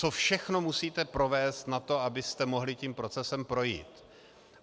Co všechno musíte provést na to, abyste mohli tím procesem projít.